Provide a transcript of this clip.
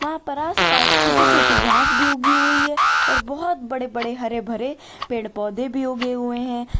वहां पर आसपास छोटी छोटी घास भी उगी हुई है और बहुत बड़े बड़े हरे भरे पेड़ पौधे भी उगे हुए हैं।